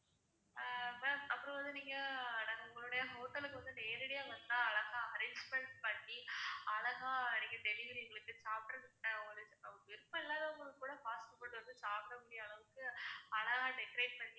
ma'am அப்புறம் வந்து நீங்க நாங்க உங்களுடைய hotel லுக்கு வந்து நேரடியா வந்தா அழகா arrangement பண்ணி அழகா நீங்க delivery எங்களுக்கு சாப்பிடுறதுக்கு ஒரு விருப்பம் இல்லாதவங்களுக்கு கூட fast food வந்து சாப்பிடக்கூடிய அளவுக்கு அழகா decorate பண்ணி